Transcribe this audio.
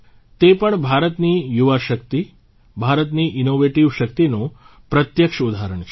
તે પણ ભારતની યુવા શક્તિ ભારતની ઇન્નોવેટીવ શક્તિનું પ્રત્યક્ષ ઉદાહરણ છે